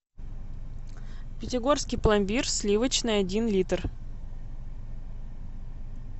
пятигорский пломбир сливочный один литр